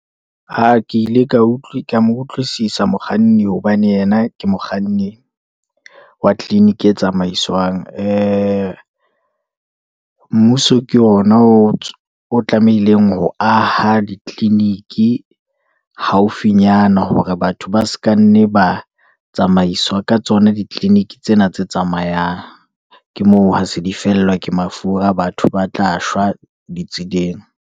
Ke ile ka mo utlwisisa mokganni, hobane yena ke mokganni wa tliliniki e tsamaiswang, mmuso ke ona o tlamehileng ho aha ditliliniki haufinyana, hore batho ba se ka nne ba tsamaiswa ka tsona, ditliliniki tsena tse tsamayang. Ke moo ha se di fellwa ke mafura. Batho ba tla shwa ditseleng.